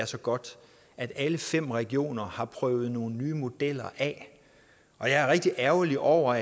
så godt at alle fem regioner har prøvet nogle nye modeller af og jeg er rigtig ærgerlig over